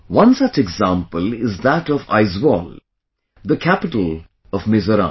One such example is that of Aizwal, the capital of Mizoram